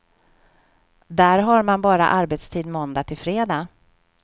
Där har man bara arbetstid måndag till fredag.